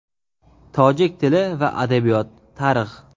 Tojik tili va adabiyot, Tarix.